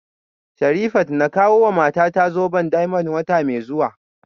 Sherifat na kawowa matata zoben diamond wata mai zuwa